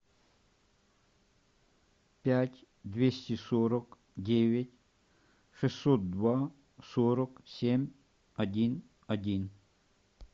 пять двести сорок девять шестьсот два сорок семь один один